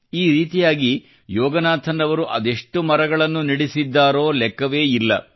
ಈ ರೀತಿಯಾಗಿ ಯೋಗನಾಥನ್ ಅವರು ಅದೆಷ್ಟು ಮರಗಳನ್ನು ನೆಡಿಸಿದ್ದಾರೋ ಲೆಕ್ಕವೇ ಇಲ್ಲ